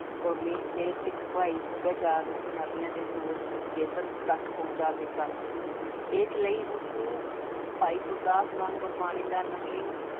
ਕੋਮੀ ਅਤੇ ਸਿੱਖ ਭਾਈ ਸਭਿਆਚਾਰ ਨੂੰ ਪੰਜਾਬੀਆ ਦੇ ਧੁਰ ਅਬਚੇਤਨ ਤੱਕ ਪਹੁਚਾ ਦਿੱਤਾ, ਇਸ ਲਈ ਉਸਨੂੰ ਭਾਈ ਗੁਰਦਾਸ ਵਾਂਗ ਗੁਰਵਾਣੀ ਦਾ ਨਵੀਨ